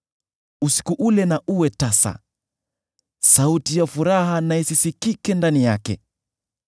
Usiku ule na uwe tasa; sauti ya furaha na isisikike ndani yake.